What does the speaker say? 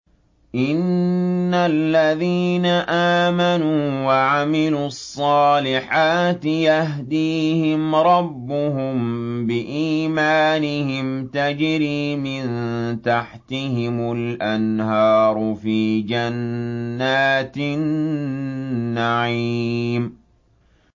إِنَّ الَّذِينَ آمَنُوا وَعَمِلُوا الصَّالِحَاتِ يَهْدِيهِمْ رَبُّهُم بِإِيمَانِهِمْ ۖ تَجْرِي مِن تَحْتِهِمُ الْأَنْهَارُ فِي جَنَّاتِ النَّعِيمِ